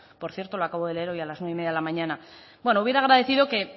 por cierto lo acabo de leer hoy a las nueve y media de la mañana bueno hubiera agradecido